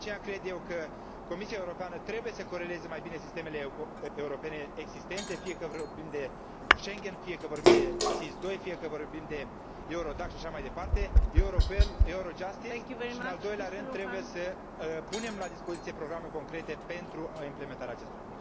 De aceea, cred că Comisia Europeană trebuie să coreleze mai bine sistemele europene existente, fie că vorbim de Schengen, fie că vorbim de SIS II, fie că vorbim de Eurodac și așa mai departe Europol, Eurojustice și, în al doilea rând, trebuie să punem la dispoziție programe concrete pentru implementarea acestora.